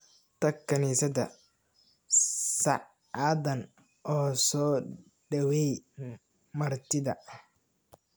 Tag kaniisadda saacadan oo soo dhaweey martida